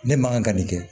Ne man kan ka nin kɛ